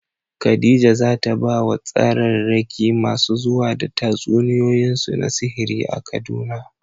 Khadija za ta ba wa tsararraki masu zuwa da tatsuniyoyinsu na sihiri a Kaduna.